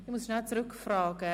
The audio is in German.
Ich muss kurz zurückfragen: